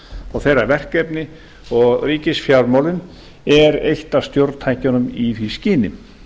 og þeirra verkefni og ríkisfjármálin eru eitt af stjórntækjunum í því skyni